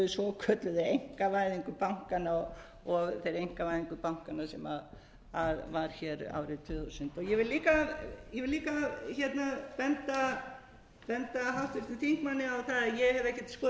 svokölluðu einkavæðingu bankanna og þeirri einkavæðingu bankanna sem var hér árið tvö þúsund ég vil líka benda háttvirtum þingmanni á það að ég hef ekkert skorast undan og ég skorast ekkert